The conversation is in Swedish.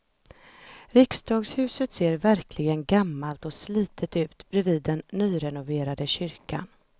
Riksdagshuset ser verkligen gammalt och slitet ut bredvid den nyrenoverade kyrkan.